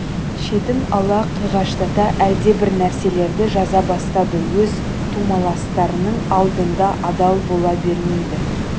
шетін ала қиғаштата әлдебір нәрселерді жаза бастады өз тумаластарының алдында адал бола бермейді